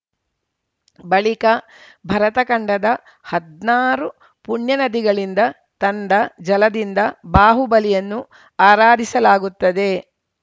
ಬಳಿಕ ಭರತ ಖಂಡದ ಹದ್ನಾರು ಪುಣ್ಯ ನದಿಗಳಿಂದ ತಂದ ಜಲದಿಂದ ಬಾಹುಬಲಿಯನ್ನು ಆರಾಧಿಸಲಾಗುತ್ತದೆ